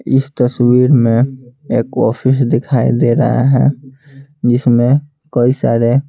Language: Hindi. इस तस्वीर में एक ऑफिस दिखाई दे रहा है जिसमें कई सारे--